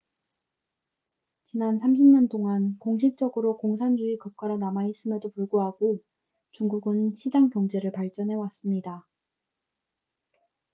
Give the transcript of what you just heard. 지난 30년 동안 공식적으로 공산주의 국가로 남아있음에도 불구하고 중국은 시장 경제를 발전해왔습니다